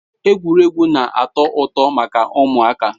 Egwuregwu na-ato uto maka umuaka